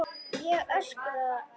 Ég öskra.